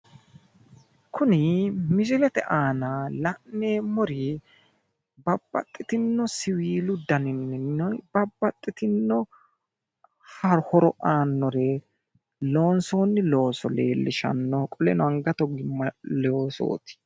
Kuni misilete aana la'neemmori babbaxxitinno siwiilu daninninna babbaxxitinno horo aannore loonsoonni looso leellishanno. Qoleno angate ogimma loosooti.